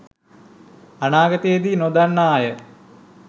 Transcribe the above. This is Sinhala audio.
අනාගතයේදී නොදන්න්න අය